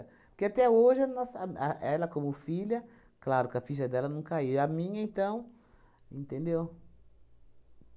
Porque até hoje nossa a ela como filha, claro que a ficha dela não caiu, e a minha então, entendeu?